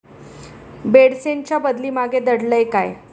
बेडसेंच्या बदली मागे दडलंय काय?